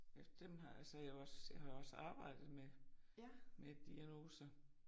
Ja dem har altså jeg jo også jeg har jo også arbejdet med med diagnoser